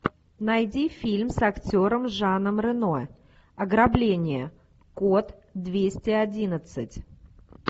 найди фильм с актером жаном рено ограбление код двести одиннадцать